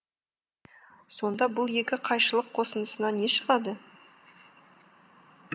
сонда бұл екі қайшылық қосындысынан не шығады